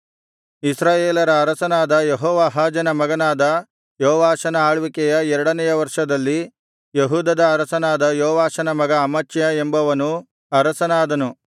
ಇಸ್ರಾಯೇಲರ ಅರಸನಾದ ಯೆಹೋವಾಹಾಜನ ಮಗನಾದ ಯೋವಾಷನ ಆಳ್ವಿಕೆಯ ಎರಡನೆಯ ವರ್ಷದಲ್ಲಿ ಯೆಹೂದದ ಅರಸನಾದ ಯೆಹೋವಾಷನ ಮಗ ಅಮಚ್ಯ ಎಂಬವನು ಅರಸನಾದನು